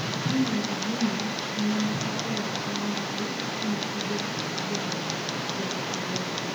ni miyo Virginia ema ne okwayo kony mare kane odwa njawo jogo e lela